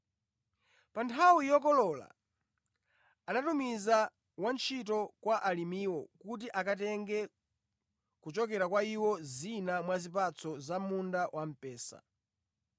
Pa nthawi yokolola anatumiza wantchito kwa alimiwo kuti akatenge kuchokera kwa iwo zina mwa zipatso za munda wamphesa.